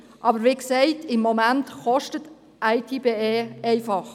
Aber, wie gesagt, im Moment kostet IT@BE nur.